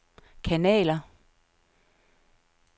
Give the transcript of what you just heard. kanaler